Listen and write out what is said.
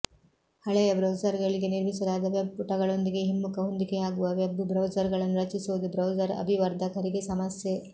ಹಳೆಯ ಬ್ರೌಸರ್ಗಳಿಗೆ ನಿರ್ಮಿಸಲಾದ ವೆಬ್ ಪುಟಗಳೊಂದಿಗೆ ಹಿಮ್ಮುಖ ಹೊಂದಿಕೆಯಾಗುವ ವೆಬ್ ಬ್ರೌಸರ್ಗಳನ್ನು ರಚಿಸುವುದು ಬ್ರೌಸರ್ ಅಭಿವರ್ಧಕರಿಗೆ ಸಮಸ್ಯೆ